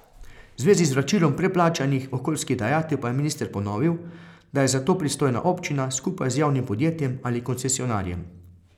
V zvezi s vračilom preplačanih okoljskih dajatev pa je minister ponovil, da je za to pristojna občina skupaj z javnim podjetjem ali koncesionarjem.